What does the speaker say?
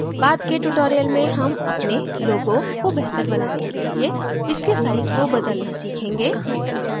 बाद के tutorials में हम अपने logos को बेहतर बनाने के लिए इसके size को बदलना सीखेंगे